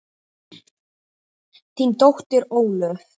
Þín dóttir Ólöf.